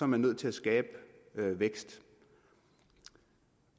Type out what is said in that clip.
man nødt til at skabe vækst